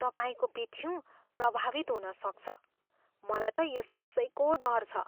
तपाईँको पिठ्युँ प्रभावित हुनसक्छ। मलाई त यसैको डर छ।